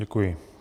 Děkuji.